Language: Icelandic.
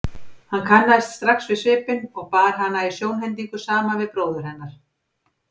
Hann kannaðist strax við svipinn og bar hana í sjónhending saman við bróður hennar.